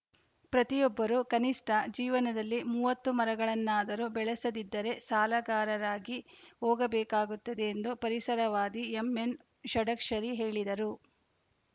ಪ್ರತಿಯೊಬ್ಬರು ಕನಿಷ್ಠ ಜೀವನದಲ್ಲಿ ಮೂವತ್ತು ಮರಗಳನ್ನಾದರೂ ಬೆಳೆಸದಿದ್ದರೆ ಸಾಲಗಾರರಾಗಿ ಹೋಗಬೇಕಾಗುತ್ತದೆ ಎಂದು ಪರಿಸರವಾದಿ ಎಂಎನ್‌ ಷಡಕ್ಷರಿ ಹೇಳಿದರು